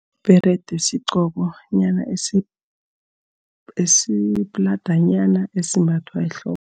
Ibherede sigqokonyana esipladanyana esimbathwa ehloko.